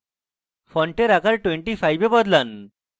ফন্টের আকার 25 এ বদলান